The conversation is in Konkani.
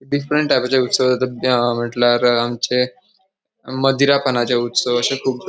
डिफ्रन्ट टायपाचे उत्सव जाता म्हटल्यार आमचे मदिरापानाचे उत्सव अशे कुब ----